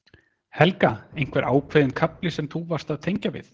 Helga: Einhver ákveðinn kafli sem þú varst að tengja við?